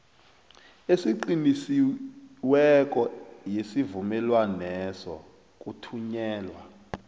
eqinisekisiweko yesivumelwaneso kuthunyelwa